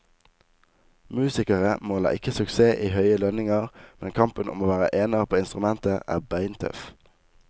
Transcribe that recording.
Musikere måler ikke suksess i høye lønninger, men kampen om å være ener på instrumentet er beintøff.